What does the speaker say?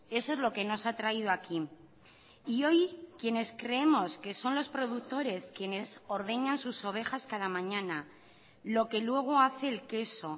eso es lo que nos ha traído aquí y hoy quienes creemos que son los productores quienes ordeñan sus ovejas cada mañana lo que luego hace el queso